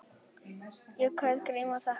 Ég kveð Grím og þakka.